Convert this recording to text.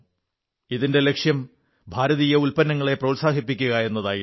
ഇതിന്റെ ലക്ഷ്യം ഭാരതീയ ഉത്പന്നങ്ങളെ പ്രോത്സാഹിപ്പിക്കുക എന്നതായിരുന്നു